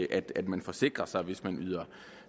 at man forsikrer sig hvis man yder